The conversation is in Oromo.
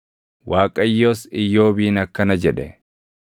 Waaqayyos Iyyoobiin akkana jedhe: